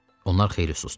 Onlar xeyli susdu.